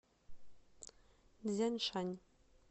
цзяншань